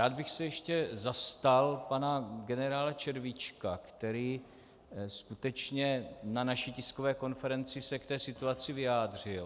Rád bych se ještě zastal pana generála Červíčka, který skutečně na naší tiskové konferenci se k té situaci vyjádřil.